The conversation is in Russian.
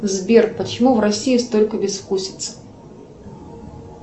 сбер почему в россии столько безвкусицы